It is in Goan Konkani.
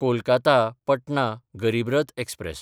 कोलकाता–पटना गरीब रथ एक्सप्रॅस